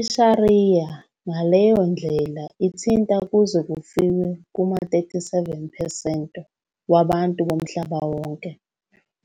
I-sharia ngaleyo ndlela ithinta kuze kufike kuma-37 percent wabantu bomhlaba wonke,